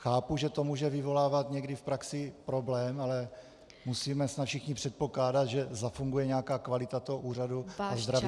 Chápu, že to může vyvolávat někdy v praxi problém, ale musíme snad všichni předpokládat, že zafunguje nějaká kvalita toho úřadu a zdravý rozum.